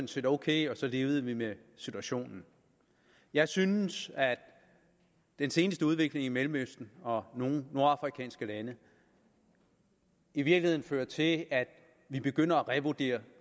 set ok og så levede vi med situationen jeg synes at den seneste udvikling i mellemøsten og nogle nordafrikanske lande i virkeligheden fører til at vi begynder at revurdere